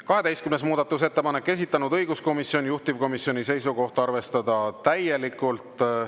12. muudatusettepanek, esitanud õiguskomisjon, juhtivkomisjoni seisukoht: arvestada täielikult.